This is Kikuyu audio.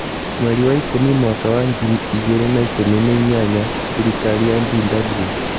Mweri wa ikũmi mwaka wa ngiri igĩrĩ na ikũmi na inyanya: Thirikari ya BW.